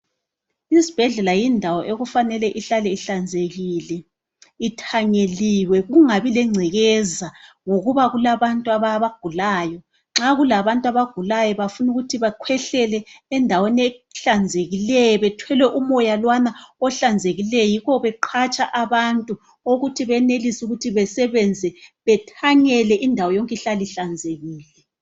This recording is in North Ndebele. Isibhedlela yindawo okumele ihlale ihlanzekile ithanyeliwe kungabi lengcekeza ngokuba kulabantu abagulayo nxa okulabantu abagulayo bafuna ukuba bakhwehlele endaweni ehlanzekileyo bathole umoya lowana ohlanzekileyo yikho beqhatsha abantu ukuthi benelise ukuthi basebenze bathanyele indawo yonke ihlale ihlanzekile.